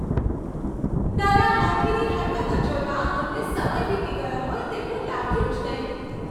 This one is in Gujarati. નાના હાથીની હરકતો જોતાં અમને સમય વીતી ગયો હોય તેવું લાગ્યું જ નહીં.